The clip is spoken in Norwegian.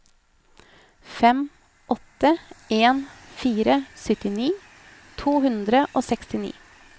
fem åtte en fire syttini to hundre og sekstini